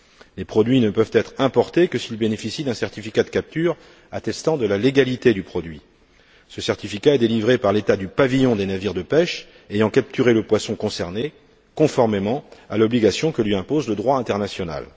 Les produits ne peuvent être importés que s'ils bénéficient d'un certificat de capture attestant de leur légalité. Ce certificat est délivré par l'État du pavillon des navires de pêche qui ont capturé le poisson concerné, conformément à l'obligation que lui impose le droit international.